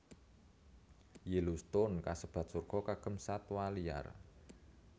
Yellowstone kasebat surga kagem satwa liar